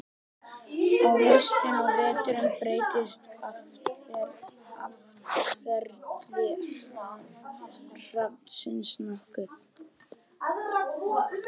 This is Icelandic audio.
á haustin og veturna breytist atferli hrafnsins nokkuð